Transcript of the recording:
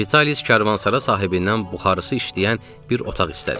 Vitalis karvansara sahibindən buxarısı işləyən bir otaq istədi.